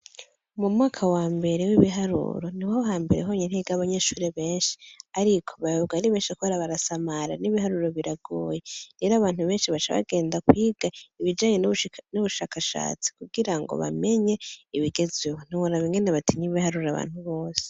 Mu mwaka wa mbere w'ibiharuro, niho hambere honyene higa abanyeshure benshi ariko, bayoberwa ari benshi kubera barasamara cane kandi n'ibiharuro biragoye rero, abantu benshi baca bagenda kwiga ibijanye n'ubushakashatsi kugira ngo bamenye ibigezweho. Ntiworaba ingene batinya ibiharuro abantu bose.